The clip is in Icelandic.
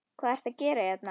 Hvað ertu að gera hérna?